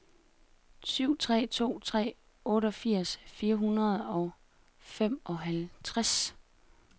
syv tre to tre otteogfirs fire hundrede og femoghalvtreds